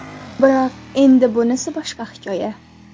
Biroq endi bunisi boshqa hikoya.